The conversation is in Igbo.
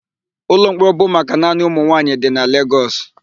Ụlọmkpọrọ bụ maka naanị ụmụnwaanyị dị na Legọs.